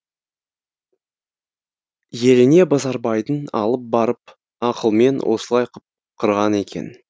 еліне базарбайдың алып барып ақылмен осылай қып қырған екен